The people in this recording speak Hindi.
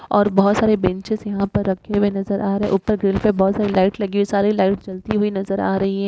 और बहुत सारे बेंचेस यहाँ पर रखे हुए नज़र आ रहे हैं। ऊपर ग्रिल पे बहुत सारी लाइट लगी हुए है। सारी लाइट जलती हुई नजर आ रही है।